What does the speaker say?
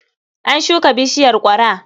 An shuka bishiyar ƙwara.